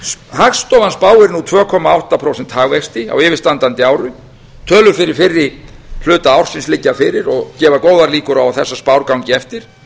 hagstofan spáir nú tvö komma átta prósenta hagvexti á yfirstandandi ári tölur fyrir fyrri hluta ársins liggja fyrir og gefa góðar líkur á að þessar spár gangi eftir